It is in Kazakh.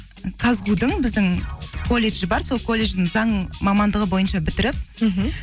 казгу дің біздің колледж бар сол колледждің заң мамандығы бойынша бітіріп мхм